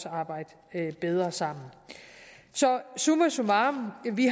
arbejde bedre sammen summa summarum har vi